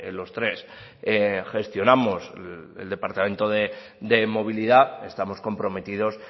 los tres gestionamos el departamento de movilidad estamos comprometidos